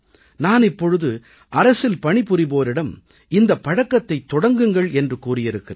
நான் இப்பொழுது அரசில் பணிபுரிவோரிடம் இந்தப் பழக்கத்தைத் தொடங்குங்கள் என்று கூறியிருக்கிறேன்